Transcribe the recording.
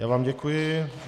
Já vám děkuji.